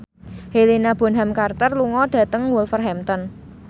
Helena Bonham Carter lunga dhateng Wolverhampton